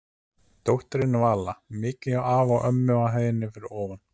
Dóttirin Vala mikið hjá afa og ömmu á hæðinni fyrir ofan.